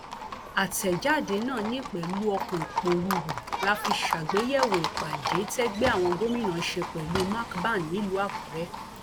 àtẹjáde náà ní pẹlú ọkàn ìpòrúurú la fi ṣàgbéyẹwò ìpàdé tẹgbẹ àwọn gómìnà ṣe pẹlú macban nílùú àkúrẹ